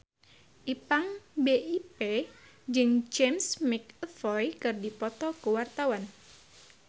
Ipank BIP jeung James McAvoy keur dipoto ku wartawan